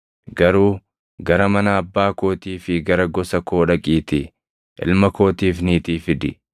garuu gara mana abbaa kootii fi gara gosa koo dhaqiitii ilma kootiif niitii fidi.’